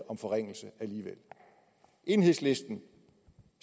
om forringelse alligevel enhedslisten